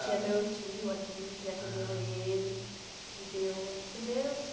tinha meu tio aqui que acolheu ele, ah, que deu os primeiros...